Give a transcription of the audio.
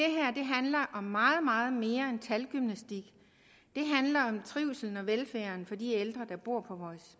handler om meget meget mere end talgymnastik det handler om trivslen og velfærden for de ældre der bor på vores